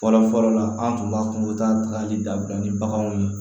Fɔlɔ fɔlɔ la an tun b'a fɔ ko u bɛ taa tagali dabila ni baganw ye